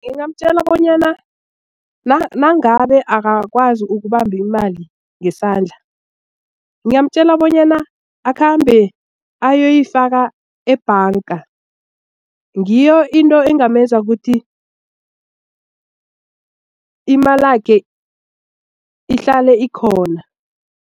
Ngingamtjela bonyana nangabe akakwazi ukubamba imali ngesandla ngingamtjela bonyana akhambe ayoyifaka ebhanga ngiyo into engamenza ukuthi imalakhe ihlale ikhona.